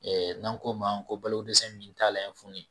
n'an ko ma ko balo ko dɛsɛ min t'a la ye funu ye